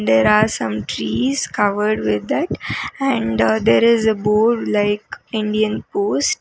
there are some trees covered with that and there is a board like indian post.